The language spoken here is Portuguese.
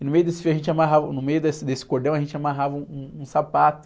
E no meio desse fio a gente amarrava, no meio desse, desse cordão a gente amarrava um, um sapato.